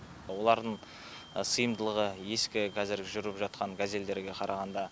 олардың сыйымдылығы ескі қазіргі жүріп жатқан газельдерге қарағанда